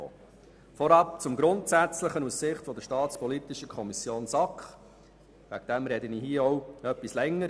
Ich komme nachher nicht mehr ans Rednerpult und spreche deshalb jetzt etwas länger.